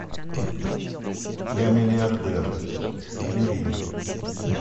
я миллиардер набери